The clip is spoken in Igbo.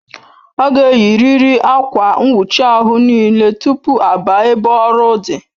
Aga eyi riri Akwa nwuchi ahụ n'ile tupu a baa ebe ọrụ dị